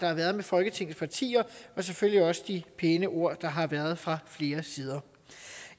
har været med folketingets partier og selvfølgelig også for de pæne ord der har været fra flere sider